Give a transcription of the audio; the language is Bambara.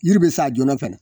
Yiri bɛ sa joona fana